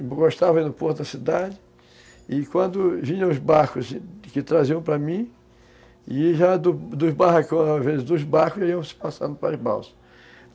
E... Gostava ir no porto da cidade, e quando vinham os barcos que traziam para mim, e já dos dos barracões, às vezes dos barcos, iam se passando para as balsas.